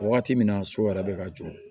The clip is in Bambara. Wagati min na so yɛrɛ bɛ ka jɔ